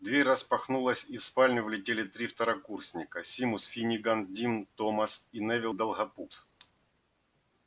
дверь распахнулась и в спальню влетели три второкурсника симус финниган дин томас и невилл долгопупс